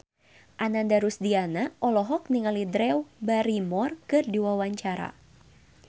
Ananda Rusdiana olohok ningali Drew Barrymore keur diwawancara